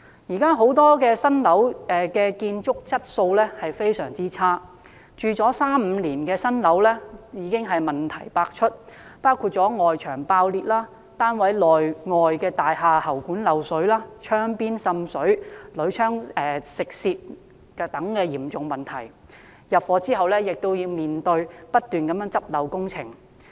因為現時不少新樓的建築質素非常差劣，住了三五年的新樓已經問題百出，包括外牆爆裂、單位內外喉管漏水、窗邊滲水、鋁窗鏽蝕等嚴重問題，剛入伙亦要面對不絕的補漏工程。